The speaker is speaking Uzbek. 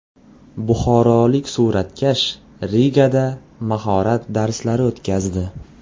Buxorolik suratkash Rigada mahorat darslari o‘tkazdi.